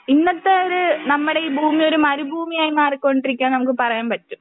ഇന്നത്തെ ഒര് നമ്മുടെ ഈ ഭൂമി ഒരു മരുഭൂമിയായി മാറികൊണ്ടിരിക്കുകയാന്ന് നമുക്ക് പറയാൻ പറ്റും.